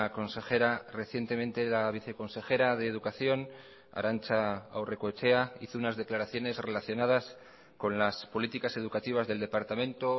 consejera recientemente la viceconsejera de educación arantza aurrekoetxea hizo unas declaraciones relacionadas con las políticas educativas del departamento